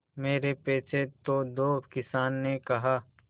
मेरे पैसे तो दो किसान ने कहा